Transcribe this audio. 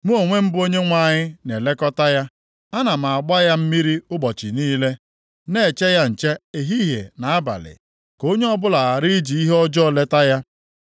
“Mụ onwe m bụ Onyenwe anyị na-elekọta ya, ana m agba ya mmiri ụbọchị niile, na-eche ya nche ehihie na abalị. Ka onye ọbụla ghara iji ihe ọjọọ leta ya.